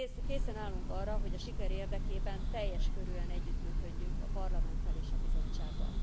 Készen állunk arra, hogy a siker érdekében teljes körűen együttműködjünk a Parlamenttel és a Bizottsággal.